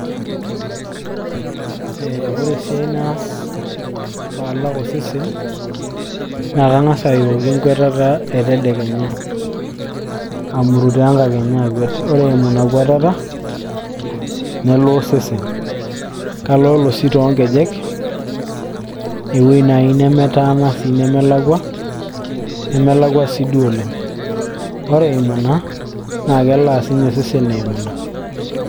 ee ore esiai naas paalak osesen naa kang'as ayooki enkuatata etedekenya amurutoo enkakenya akwet ore eimu ina kwatata nelaa osesen kaloolo sii toonkejek ewueji naaji nemetaana nemelakua, nemelaku siiduo oleng ore eimu ina, naa kelaa sininye osesen eimu ina.